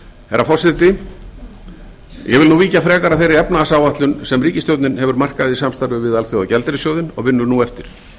herra forseti ég vil nú víkja frekar að þeirri efnahagsáætlun sem ríkisstjórnin hefur markað í samstarfi við alþjóðagjaldeyrissjóðinn og vinnur nú eftir